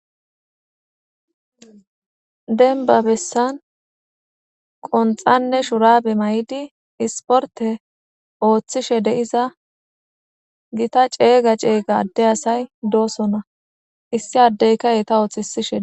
Dembba bessan qonxxanne shurabbe may'iddi isportte oththishshe de'iza Gita ceega ceega adde asay dosonna. Issi addeykka Etta ottisishin